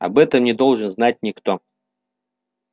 об этом не должен знать никто